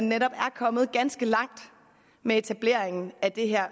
netop er kommet ganske langt med etableringen af det her